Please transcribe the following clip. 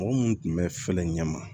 Mɔgɔ minnu tun bɛ fɛlen ɲɛ ma